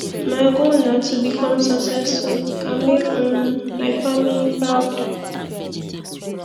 my life goal na to become successful and make um my family proud